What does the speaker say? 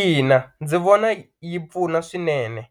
Ina ndzi vona yi pfuna swinene